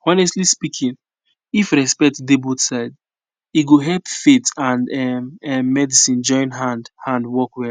honestly speaking if respect dey both sides e go help faith and um ehm medicine join hand hand work well